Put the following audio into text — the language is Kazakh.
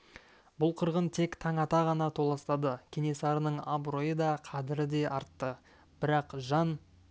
бұл қырғын тек таң ата ғана толастады кенесарының абыройы да қадірі де артты бірақ жан